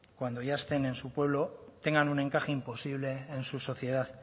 cuando ya estén en su pueblo tengan un encaje imposible en su sociedad